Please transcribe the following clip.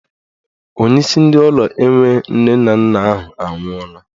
Onyeisi ndị ụlọ enwe nne na nna ahụ anwụọla.